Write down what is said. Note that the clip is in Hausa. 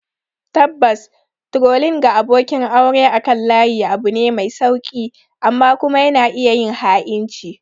Tabbas, trolling ga abokin aure akan layi abu ne mai sauƙi; amma kuma yana iya yin ha'inci